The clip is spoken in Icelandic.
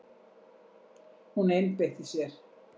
Hún einbeitti sér.